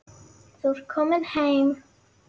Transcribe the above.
Þú ert komin heim.